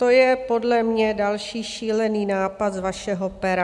To je podle mě další šílený nápad z vašeho pera.